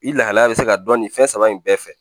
I lahalaya bɛ se ka dɔn nin fɛn saba in bɛɛ fɛ